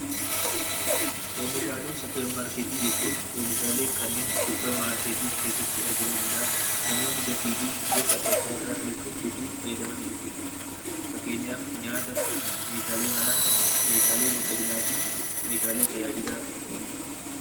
Oomishaalee suupermaarkeetii jechuun oomishaalee suupermaarkeetii keessatti argamuu danda'an, namoonni gatii fi garaagaraan bituun fayyadaman jechuudha. Fakkeenyaaf nyaata, Meeshaalee manaa, Meeshaalee miidhaginaa fi tajaajila oolanidha.